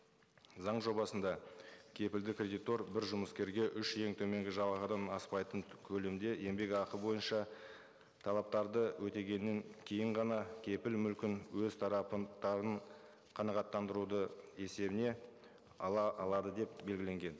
заң жобасында кепілді кредитор бір жұмыскерге үш ең төменгі жалақыдан аспайтын көлемде еңбекақы бойынша талаптарды өтегенін кейін ғана кепіл мүлкін өз тарапын қанағаттандырудың есебіне ала алады деп белгіленген